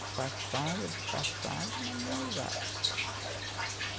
Disfarçava, disfarçava, mas não usava.